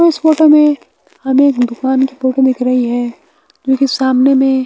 इस फोटो में हमें एक दुकान की फोटो दिख रही है जो कि सामने में --